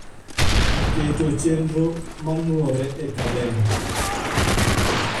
keto chenro manuore e kalenda